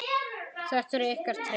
Þetta eru ykkar tré.